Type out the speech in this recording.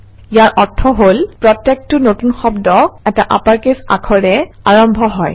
ইয়াৰ অৰ্থ হল প্ৰত্যেকটো নতুন শব্দ এটা আপাৰকেচ লেটাৰেৰে আৰম্ভ হয়